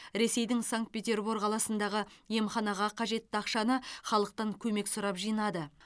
ресейдің санкт петербург қаласындағы емханаға қажетті ақшаны халықтан көмек сұрап жинады